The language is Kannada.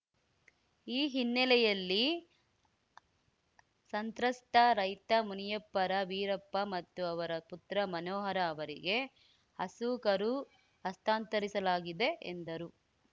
ಈ ಹಿನ್ನೆಲೆಯಲ್ಲಿ ಸಂತ್ರಸ್ತ ರೈತ ಮುನಿಯಪ್ಪರ ವೀರಪ್ಪ ಮತ್ತು ಅವರ ಪುತ್ರ ಮನೋಹರ ಅವರಿಗೆ ಹಸು ಕರು ಹಸ್ತಾಂತರಿಸಲಾಗಿದೆ ಎಂದರು